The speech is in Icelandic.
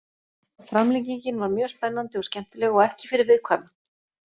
Framlengingin var mjög spennandi og skemmtileg og ekki fyrir viðkvæma.